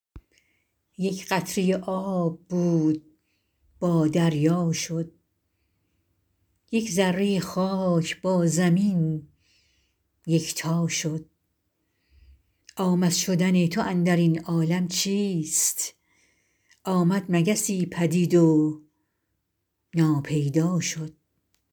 یک قطره آب بود با دریا شد یک ذره خاک با زمین یکتا شد آمد شدن تو اندر این عالم چیست آمد مگسی پدید و ناپیدا شد